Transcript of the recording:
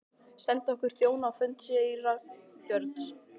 Sendum okkar þjóna á fund síra Björns.